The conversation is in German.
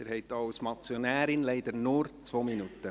Sie haben auch als Motionärin leider nur 2 Minuten.